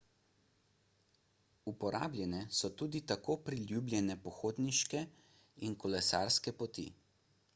uporabljene so tudi kot priljubljene pohodniške in kolesarske poti